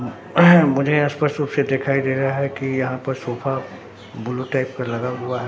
मुझे स्पष्ट रूप से दिखाई दे रहा है कि यहां पर सोफा ब्लू टाइप का लगा हुआ है।